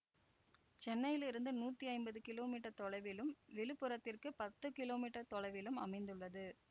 சென்னையிலிருந்து நூத்தி ஐம்பது கிலோ மீட்டர் தொலைவிலும் விழுப்புரத்திற்கு பத்து கிலோ மீட்டர் தொலைவிலும் அமைந்துள்ளது